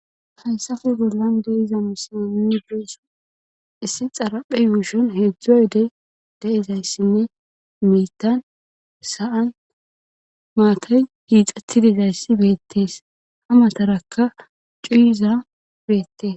Haysafe gollan de iza misini beessa issi xaraphe yuushon heedzdzo yodey da7izayssinne miitan sa7an maakay giixatidizayssi beettees ha matarakka cuuyizaa beette